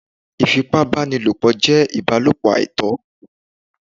Ìfipá báni lòpọ̀ jé ìbálòpọ̀ àìtọ́